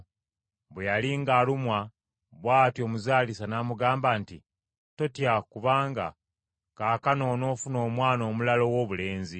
Bwe yali ng’alumwa bw’atyo omuzaalisa n’amugamba nti, “Totya kubanga kaakano onoofuna omwana omulala owoobulenzi.”